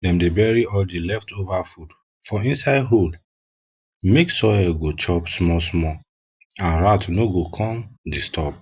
um dem dey bury all di leftover food for inside hole make soil go chop smallsmall and rats no go come disturb